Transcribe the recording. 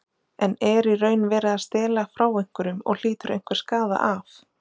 En er í raun verið að stela frá einhverjum og hlýtur einhver skaða af?